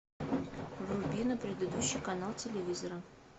вруби на предыдущий канал телевизора